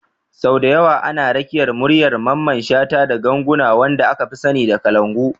Sau da yawa ana rakiyar muryar Mamman shata da ganguna, wanda aka fi sani da kalangu.